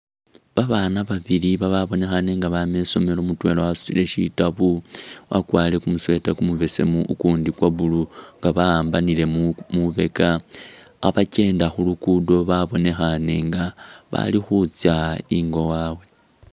Babana babili bababnekhane nga babama isomelo mutwela wasutile shitabu wakwarile kumusweeta kumubesemu ukundi kwa blue nga bakhambanile mwibeka khebakyenda khulukudo babonekhane nga bali khutsa ingo wawe.